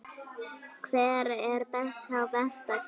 Hver er sá best klæddi?